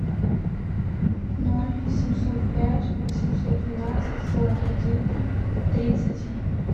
ноль семьсот пять восемьсот двенадцать сорок один тридцать